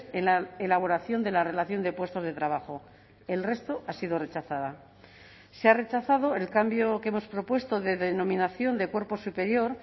en la elaboración de la relación de puestos de trabajo el resto ha sido rechazada se ha rechazado el cambio que hemos propuesto de denominación de cuerpo superior